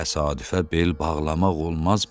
Təsadüfə bel bağlamaq olmaz, bala.